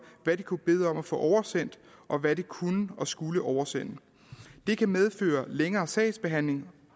hvad de kunne bede om at få oversendt og hvad de kunne og skulle oversende det kan medføre en længere sagsbehandling